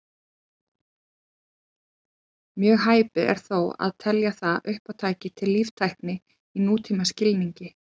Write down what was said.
Mjög hæpið er þó að telja það uppátæki til líftækni í nútímaskilningi.